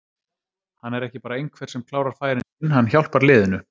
Hann er ekki bara einhver sem klárar færin sín, hann hjálpar liðinu.